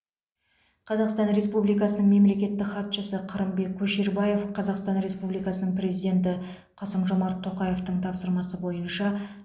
қазақстан республикасының мемлекеттік хатшысы қырымбек көшербаев қазақстан республикасының президенті қасым жомарт тоқаевтың тапсырмасы бойынша